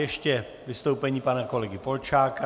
Ještě vystoupení pana kolegy Polčáka.